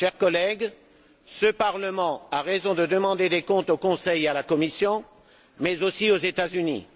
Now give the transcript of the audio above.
Chers collègues, ce Parlement a raison de demander des comptes au Conseil et à la Commission, mais aussi aux États Unis.